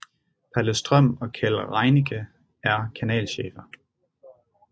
Palle Strøm og Keld Reinicke er kanalchefer